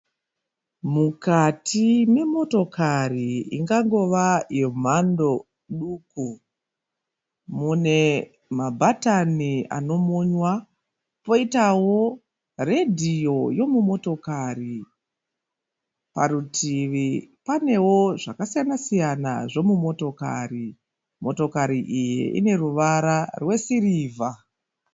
Mukati memotokari ingangova yemhando duku. Mune mabhatani anomonywa poitawo redhiyo yomumotokari. Parutivi panewo zvakasiyana siyana zvomumotokari. Motokari iyi ine ruvara rwesirivha.